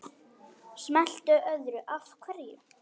Smellti öðru hverju af.